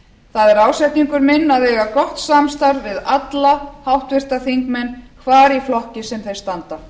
það er ásetningur minn að eiga gott samstarf við alla háttvirta þingmenn hvar í flokki sem þeir standa